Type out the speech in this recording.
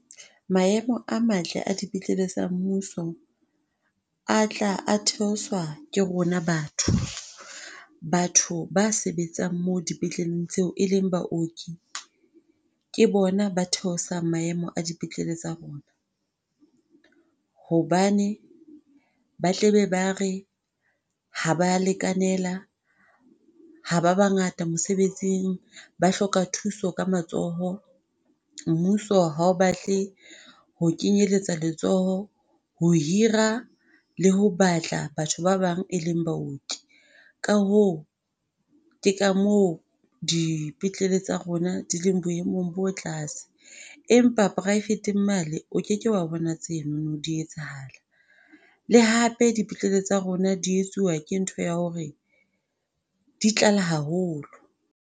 Maemo a matle a dipetlele tsa mmuso a tla a theoswa ke rona batho. Batho ba sebetsang moo dipetleleng tseo e leng baoki ke bona ba theosang maemo a dipetlele tsa rona hobane ba tlabe ba re ha ba a lekanela. Ha ba bangata mosebetsing, ba hloka thuso ka matsoho. Mmuso ha o batle ho kenyeletsa letsoho ho hira le ho batla batho ba bang, e leng baoki. Ka hoo ke ka moo dipetlele tsa rona di leng boemong bo tlase. Empa private-ng mane o ke ke wa bona tseno di etsahala. Le hape dipetlele tsa rona di etsuwa ke ntho ya hore di tlala haholo.